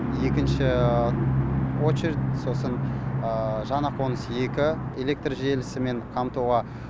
екінші очередь сосын жаңа қоныс екі электр желісімен қамтуға